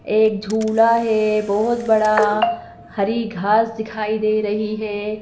एक झूला है बहुत बड़ा हरी घास दिखाई दे रही है।